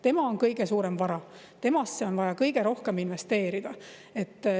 Tema on kõige suurem vara, temasse on vaja kõige rohkem investeerida.